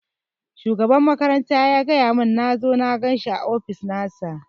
Shugaban makaranta ya gaya mun nazo na ganshi a ofis nasa